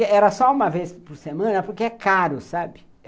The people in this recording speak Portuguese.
Era só uma vez por semana, porque é caro, sabe?